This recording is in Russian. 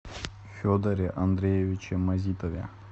федоре андреевиче мазитове